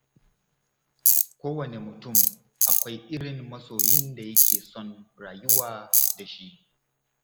Kowane mutum akwai irin masoyin da yake son rayuwa da shi.